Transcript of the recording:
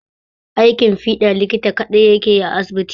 Aiki fiɗa likita kaɗai yake yi a asibiti